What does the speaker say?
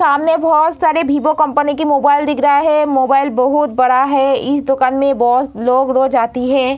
सामने बहुत सारे वीवो कंपनी की मोबाइल दिख रहे है मोबाइल बहुत बड़ा है इस दुकान में बहुत लोग रोज आती है।